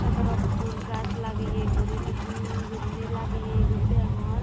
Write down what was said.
sodorok ful gach lageye guri uju guriney lageye guri degongor.